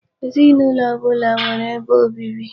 Ezinụlọ ọbụla nwere ebe obibi.